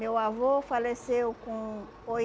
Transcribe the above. Meu avô faleceu com